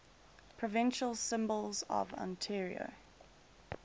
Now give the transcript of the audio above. provincial symbols of ontario